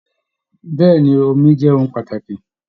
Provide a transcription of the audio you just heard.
Bẹ̀ẹ́ni, omi jẹ ohùn pàtàkì.